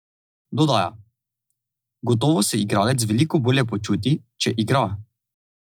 Dodaja: "Gotovo se igralec veliko bolje počuti, če igra.